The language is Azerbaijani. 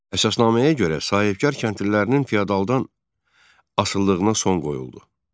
Əsasnaməyə görə sahibkar kəndlilərinin fiyadaldan asılılığına son qoyuldu.